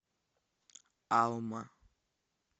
алма